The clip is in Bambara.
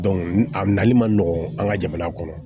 a nali man nɔgɔn an ka jamana kɔnɔ